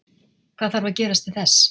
Hvað þarf að gerast til þess?